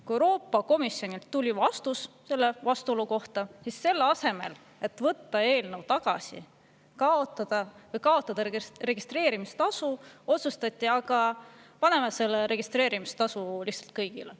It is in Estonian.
Kui Euroopa Komisjonilt tuli vastus vastuolu kohta, siis selle asemel, et võtta eelnõu tagasi või registreerimistasu, otsustati, et aga paneme selle registreerimistasu lihtsalt kõigile.